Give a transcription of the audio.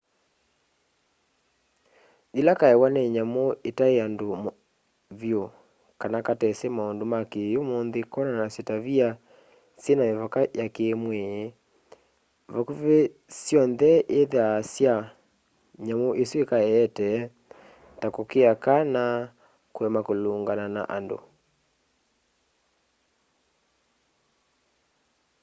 yĩla kaewa nĩ nyamũ itaĩ andũ vyũ kana katesi maũndũ ma kĩ'ũmũnthĩ konanasya tavia syĩna mĩvaka ya kĩmwĩĩ vakuvĩ syonthe ithyaa ta sya nyamũ isu ikaeete ta kũkĩa kana kũema kũlũngana na andũ